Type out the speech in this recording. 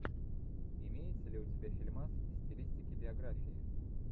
имеется ли у тебя фильмас в стилистике биография